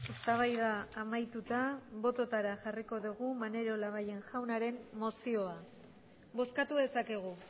eztabaida amaituta bototara jarriko dugu maneiro labayen jaunaren mozioa bozkatu dezakegu